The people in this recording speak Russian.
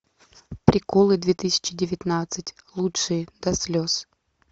приколы две тысячи девятнадцать лучшие до слез